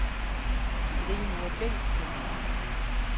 Rigmor Bengtsen